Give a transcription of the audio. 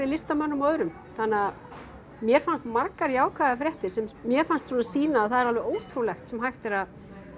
listamönnum og öðrum þannig að mér fannst margar jákvæðar fréttir sem mér fannst svona sýna að það er alveg ótrúlegt sem hægt er að